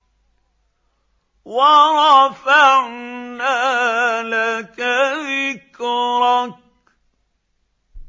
وَرَفَعْنَا لَكَ ذِكْرَكَ